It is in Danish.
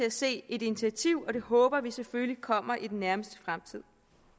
at se et initiativ og det håber vi selvfølgelig kommer i den nærmeste fremtid